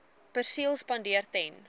perseel spandeer ten